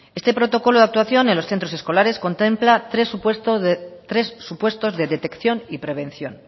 este protocolo de actuación en los centros escolares contempla tres supuestos de detección y de prevención